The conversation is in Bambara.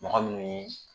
Mɔgɔ min